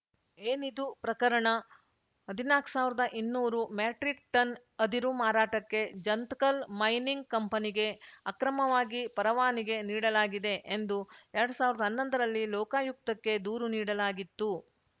ಏನಿದು ಪ್ರಕರಣ ಹದಿನಾಕು ಸಾವಿರ್ದಇನ್ನೂರು ಮೆಟ್ರಿಕ್‌ ಟನ್‌ ಅದಿರು ಮಾರಾಟಕ್ಕೆ ಜಂತಕಲ್‌ ಮೈನಿಂಗ್‌ ಕಂಪನಿಗೆ ಅಕ್ರಮವಾಗಿ ಪರವಾನಗಿ ನೀಡಲಾಗಿದೆ ಎಂದು ಎರಡ್ ಸಾವಿರ್ದಾ ಹನ್ನೊಂದರಲ್ಲಿ ಲೋಕಾಯುಕ್ತಕ್ಕೆ ದೂರು ನೀಡಲಾಗಿತ್ತು